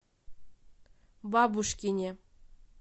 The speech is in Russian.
бабушкине